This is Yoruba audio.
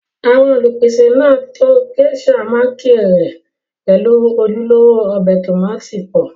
àwọn Olùpèsè náà to Géíṣà mákírẹ̀lì pẹ̀lú ojúlówó ọbẹ̀ tómátì pọ̀